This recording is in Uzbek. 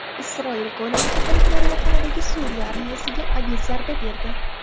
Isroil Golan tepaliklari yaqinidagi Suriya armiyasiga aviazarba berdi.